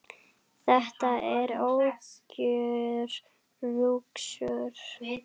Þetta er algjör lúxus.